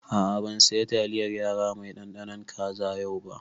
A'a ban saya taliyar yara mai ɗanɗanon kaza yau ba